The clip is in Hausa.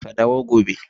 Ka dawo gobe.